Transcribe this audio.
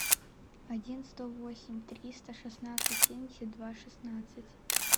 один сто восемь триста шестнадцать семьдесят два шестнадцать